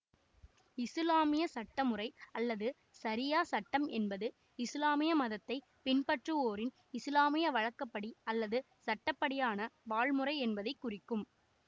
இசுலாமிய சட்டமுறை அல்லது சரியா சட்டம் என்பது இசுலாமிய மதத்தை பின்பற்றுவோரின் இசுலாமிய வழக்கப்படி அல்லது சட்ட படியான வாழ்முறை என்பதை குறிக்கும்